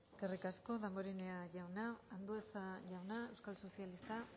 eskerrik asko damborenea jauna andueza jauna euskal sozialistak